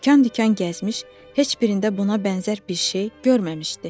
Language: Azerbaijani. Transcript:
Dükan-dükan gəzmiş, heç birində buna bənzər bir şey görməmişdi.